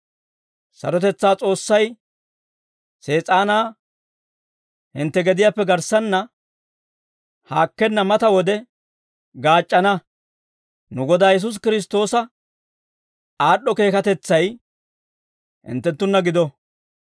Sarotetsaa S'oossay Sees'aanaa hintte gediyaappe garssanna haakkenna mata wode gaac'c'ana. Nu Godaa Yesuusi Kiristtoosa aad'd'o keekatetsay hinttenttunna gido.